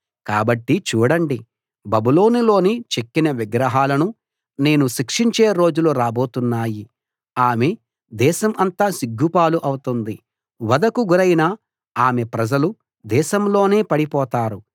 కాబట్టి చూడండి బబులోను లోని చెక్కిన విగ్రహాలను నేను శిక్షించే రోజులు రాబోతున్నాయి ఆమె దేశం అంతా సిగ్గుపాలు అవుతుంది వధకు గురైన ఆమె ప్రజలు దేశంలోనే పడిపోతారు